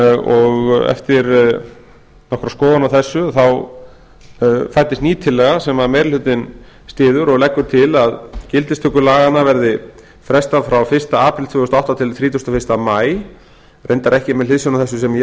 og eftir skoðun á þessu fæddist ný tillaga sem meiri hlutinn styður og leggur til að gildistöku laganna verði frestað frá fyrsta apríl tvö þúsund og átta til þrítugasta og fyrsta maí reyndar ekki með hliðsjón af þessu sem ég var